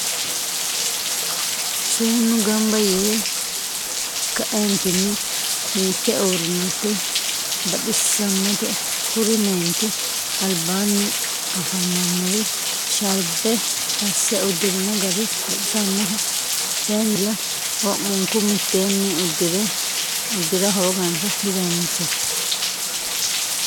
seenu ganba yee ka'eenitinni hikke uurinoti baxisannote kuri meenti alibaani afamannori sharibbe ase udirinno gari baxisannoho kayinnila wo'muku mitteenni udira hoogansa didanichate.